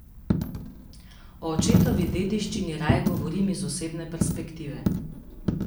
O očetovi dediščini raje govorim iz osebne perspektive.